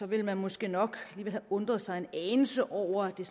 ville man måske nok have undret sig en anelse over at det